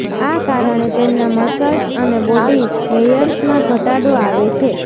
આ કારણે તેમના મસલ્સ અને બોડી હેયર્સમાં ઘટાડો આવે છે